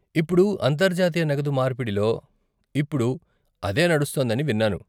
ఇప్పుడు అంతర్జాతీయ నగదు మార్పిడిలో ఇప్పుడు అదే నడుస్తోందని విన్నాను.